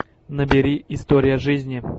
набери история жизни